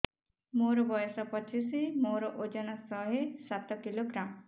ମୋର ବୟସ ପଚିଶି ମୋର ଓଜନ ଶହେ ସାତ କିଲୋଗ୍ରାମ